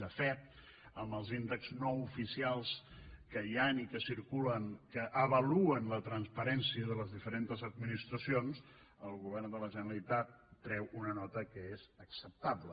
de fet amb els índexs no oficials que hi han i que circulen que avaluen la transparència de les diferents administracions el govern de la generalitat treu una nota que és acceptable